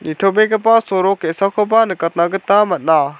sorok ge·sakoba nikatna gita man·a.